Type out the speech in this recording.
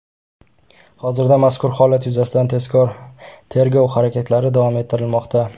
Hozirda mazkur holat yuzasidan tezkor-tergov harakatlari davom ettirilmoqda.